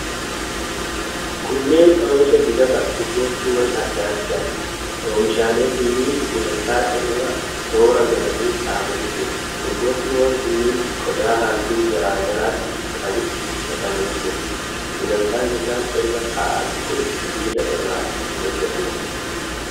Kunneen oomisha dibata urgooftuwwan adda addaati. Oomishaalee kunniin gulantaa irra toora galanii kaa'amanii jiru. Urgooftuwwan kunniin qodaa halluu garaa garaatti qabutti naqamanii jiru. Gulantaan isaan irra taa'an kun sibiila irraa kan hojjatameedha.